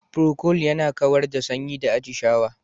Procold yana kawar da sanyi da atishawa.